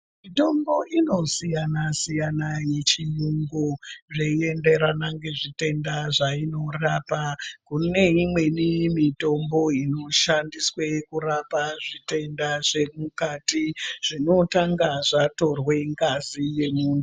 Mitombo inosiyana siyana yechiyungu zveienderana ngezvitenda zvainorapa. Kuneimweni mitombo inoshandiswe kurapa zvitwnda zvemukati ,zvinotanga zvatorwa ngazi yemuntu.